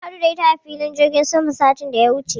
Mun haɗu da ita a filin jirgin sama satin da ya wuce.